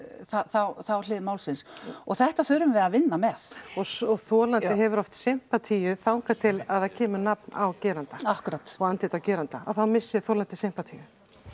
þá þá hlið málsins og þetta þurfum við að vinna með og og þolandi hefur oft sympatíu þangað til að það kemur nafn á gerandann akkúrat og andlit á geranda þá missir þolandi sympatíu